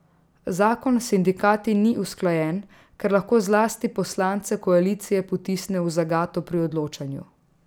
Zakon s sindikati ni usklajen, kar lahko zlasti poslance koalicije potisne v zagato pri odločanju.